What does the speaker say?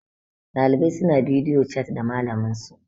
ɗalibai suna bidiyo chat da malaminsu